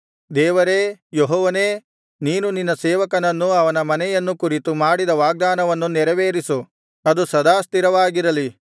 ದೇವರೇ ಯೆಹೋವನೇ ನೀನು ನಿನ್ನ ಸೇವಕನನ್ನೂ ಅವನ ಮನೆಯನ್ನು ಕುರಿತು ಮಾಡಿದ ವಾಗ್ದಾನವನ್ನು ನೆರವೇರಿಸು ಅದು ಸದಾ ಸ್ಥಿರವಾಗಿರಲಿ